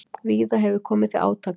Víða hefur komið til átaka